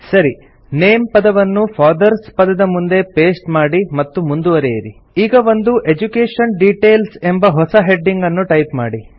ಸರಿ ನೇಮ್ ಪದವನ್ನು ಫಾದರ್ಸ್ ಪದದ ಮುಂದೆ ಪೇಸ್ಟ್ ಮಾಡಿ ಮತ್ತು ಮುಂದುವರೆಯಿರಿ ಈಗ ಒಂದು ಎಡ್ಯುಕೇಷನ್ ಡಿಟೇಲ್ಸ್ ಎಂಬ ಹೊಸ ಹೆಡಿಂಗ್ ಅನ್ನು ಟೈಪ್ ಮಾಡಿ